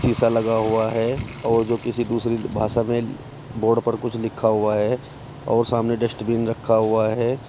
शीशा लगा हुआ है और जो किसी दूसरी भाषा में बोर्ड पर कुछ लिखा हुआ है और सामने डस्टबिन रखा हुआ है।